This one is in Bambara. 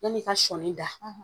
ya ni ka sɔni da